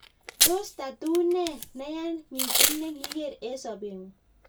tos tatuu ne neya mising nekiigeer eng sobeng'ung?